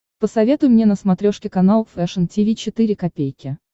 посоветуй мне на смотрешке канал фэшн ти ви четыре ка